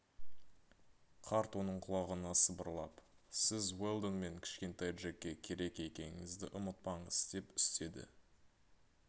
қарт оның құлағына сыбырлап сіз уэлдон мен кішкентай джекке керек екеніңізді ұмытпаңыз деп үстеді